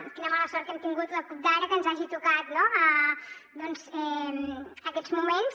quina mala sort que hem tingut la cup d’ara que ens hagi tocat doncs aquests moments